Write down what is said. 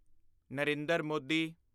Narendra Modi